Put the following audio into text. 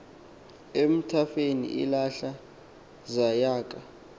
emathafeni ilahlaza yaka